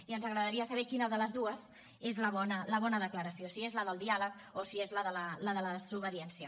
i ens agradaria saber quina de les dues és la bona la bona declaració si és la del diàleg o si és la de la desobediència